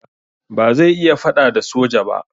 Ba zai iya faɗa da soja ba.